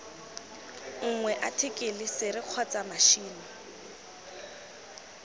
nngwe athikele sere kgotsa matšhini